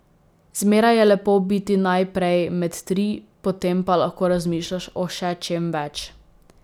Zmeraj je lepo biti najprej med tri, potem pa lahko razmišljaš o še čem več.